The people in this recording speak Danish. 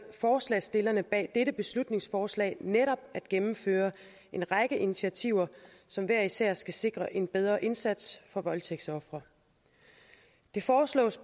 forslagsstillerne bag dette beslutningsforslag netop at gennemføre en række initiativer som hver især skal sikre en bedre indsats for voldtægtsofre det foreslås